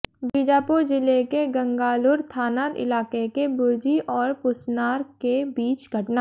बीजापुर जिले के गंगालूर थाना इलाके के बुरजी और पुसनार के बीच घटना